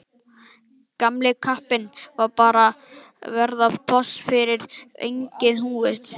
Gamli kappinn bara að verða boss yfir eigin búð.